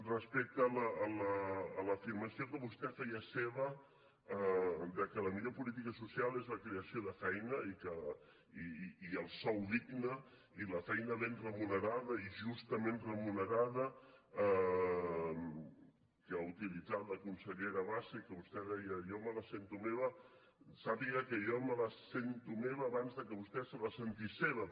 respecte a l’afirmació que vostè feia seva que la millor política social és la creació de feina i el sou digne i la feina ben remunerada i justament remunerada que ha utilitzat la consellera bassa i que vostè deia jo me la sento meva sàpiga que jo me la sento meva abans que vostè se la sentís seva